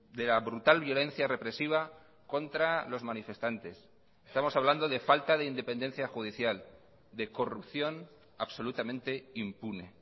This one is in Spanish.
de la brutal violencia represiva contra los manifestantes estamos hablando de falta de independencia judicial de corrupción absolutamente impune